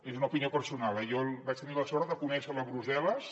és una opinió personal eh jo vaig tenir la sort de conèixer lo a brussel·les